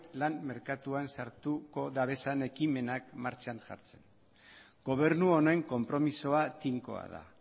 lan merkatuan sartuko dabezan ekimenak martxan jartzen gobernu honen konpromisoa tinkoa da